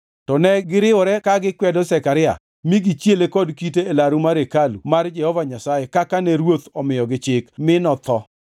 To ne giriwore ka gikwedo Zekaria mi negichiele kod kite e laru mar hekalu mar Jehova Nyasaye kaka ne ruoth omiyogi chik; mi notho.